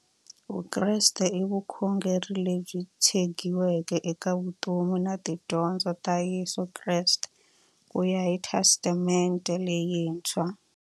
Vukreste i vukhongeri lebyi tshegiweke eka vutomi na tidyondzo ta Yesu Kreste kuya hi Testamente leyintshwa.